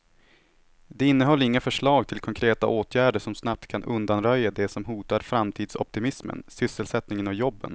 Det innehöll inga förslag till konkreta åtgärder som snabbt kan undanröja det som hotar framtidsoptimismen, sysselsättningen och jobben.